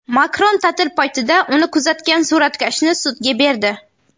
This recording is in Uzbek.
Makron ta’til paytida uni kuzatgan suratkashni sudga berdi.